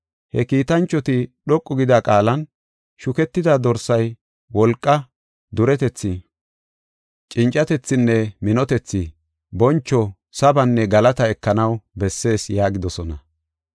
He kiitanchoti dhoqu gida qaalan, “Shuketida Dorsay wolqaa, duretethi, cincatethinne minotethi, boncho, sabanne galataa ekanaw bessees” yaagidosona.